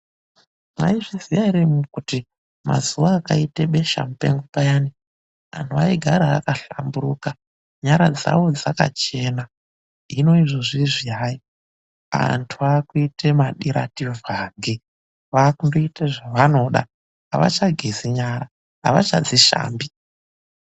Mwaizviziya ere imwimwi kuti mazuva akaite besha mupengo payani, anhu vaigara akahlamburuka. Nyara dzavo dzakachena, hino izvozvizvi hayi, antu vaakuite madiradhivhange, vaakundoite zvavanoda, avakagezi nyara avachadzishambi.